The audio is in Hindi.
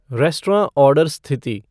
रेस्टराँ आर्डर स्थिति